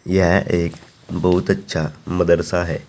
यह एक बहुत अच्छा मदरसा है।